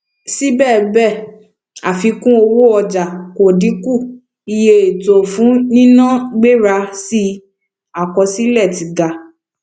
sibẹsibẹ àfikún owó ọjà kò dínkù iye ètò fún nínà gbéra sí akọsilẹ tí ga